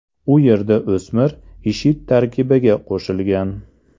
U yerda o‘smir IShID tarkibiga qo‘shilgan.